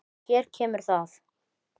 Hér kemur það.